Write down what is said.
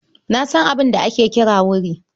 Na san abin da ake kira wuri.